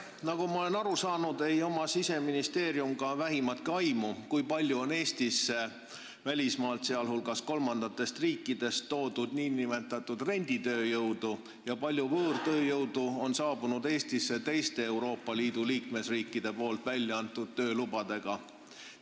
Nagu ma olen aru saanud, ei ole Siseministeeriumil ka vähimatki aimu, kui palju on Eestis välismaalt, sh kolmandatest riikidest, toodud nn renditööjõudu ja kui palju võõrtööjõudu on saabunud Eestisse teiste Euroopa Liidu liikmesriikide väljaantud töölubadega.